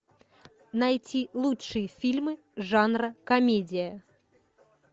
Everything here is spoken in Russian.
найти лучшие фильмы жанра комедия